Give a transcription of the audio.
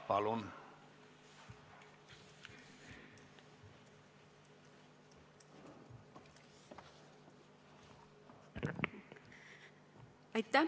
Palun!